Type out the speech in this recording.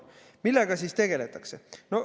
Millega siis tegeldakse?